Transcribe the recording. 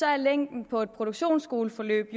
er længden på et produktionsskoleforløb